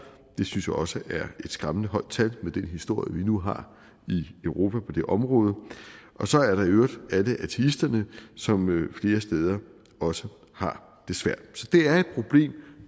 det synes jeg også er et skræmmende højt tal med den historie vi nu har i europa på det område så er der i øvrigt alle ateisterne som flere steder også har det svært